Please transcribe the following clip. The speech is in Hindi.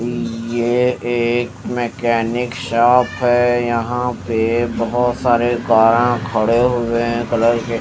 ये एक मेकेनिक शॉप हे यहा पे बोहोत सारे कार आ खड़े हुए हे कलर के--